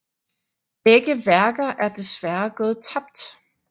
Begge værker er desværre gået tabt